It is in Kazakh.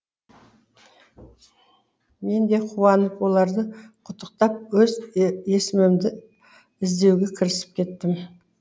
мен де қуанып оларды құттықтап өз есімімді іздеуге кірісіп кеттім